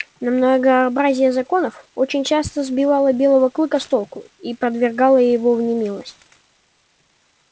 но многообразие законов очень часто сбивало белого клыка с толку и повергало его в немилость